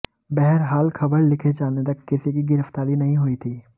बहरहाल खबर लिखे जाने तक किसी की गिरफ्तारी नही हुई थी